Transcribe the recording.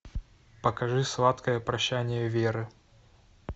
покажи сладкое прощание веры